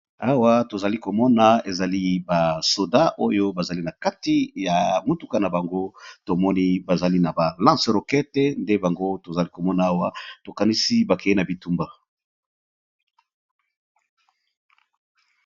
Awa tozali komona ezali ba soda oyo bazali na kati ya motuka na bango tomoni bazali na ba lance rokete nde bango tozali komona awa tokanisi bakeye na bitumba.